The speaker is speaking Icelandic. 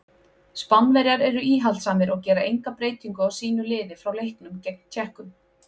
Spánverjar eru íhaldssamir og gera enga breytingu á sínu liði frá leiknum gegn Tékkum.